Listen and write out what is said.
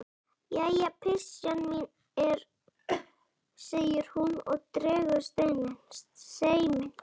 Jæja, pysjan mín, segir hún og dregur seiminn.